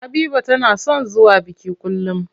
Habiba tana son zuwa biki kullum.